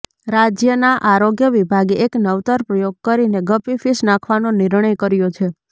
રાજયના આરોગ્ય વિભાગે એક નવતર પ્રયોગ કરીને ગપ્પી ફિશ નાખવાનો નિર્ણય કર્યો છે